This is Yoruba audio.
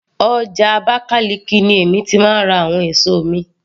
Ọjà Abakaliki ni èmi ti máa ń ra àwọn èso mi